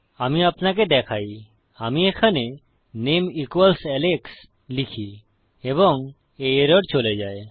আমি আপনাকে দেখাই আমি এখানে নামে ইকুয়ালস আলেক্স লিখি এবং এই এরর চলে যায়